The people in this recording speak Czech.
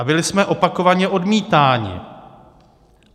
A byli jsme opakovaně odmítáni.